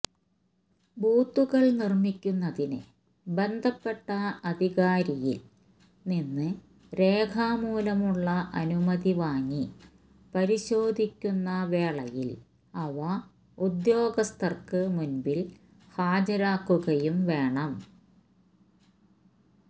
ബൂത്തുകള് നിര്മിക്കുന്നതിന് ബന്ധപ്പെട്ട അധികാരിയില് നിന്ന് രേഖാമൂലമുള്ള അനുമതി വാങ്ങി പരിശോധിക്കുന്ന വേളയില് അവ ഉദ്യോഗസ്ഥര്ക്ക് മുന്പില് ഹാജരാക്കുകയും വേണം